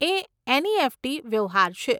એ NEFT વ્યવહાર છે.